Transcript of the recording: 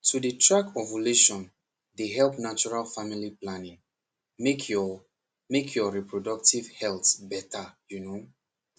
to dey track ovulation dey help natural family planning make your make your reproductive health better you know